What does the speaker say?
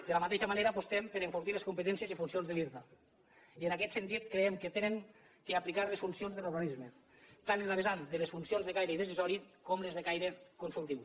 de la mateixa manera apostem per enfortir els competències i les funcions de l’irta i en aquest sentit creiem que han d’aplicar les funcions de l’organisme tant en la vessant de les funcions de caire decisori com les de caire consultiu